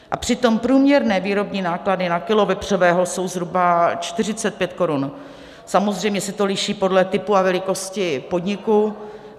A přitom průměrné výrobní náklady na kilo vepřového jsou zhruba 45 Kč, samozřejmě se to liší podle typu a velikosti podniku.